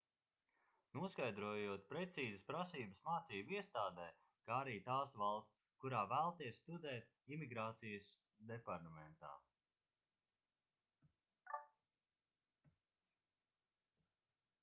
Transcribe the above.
noskaidrojot precīzas prasības mācību iestādē kā arī tās valsts kurā vēlaties studēt imigrācijas departamentā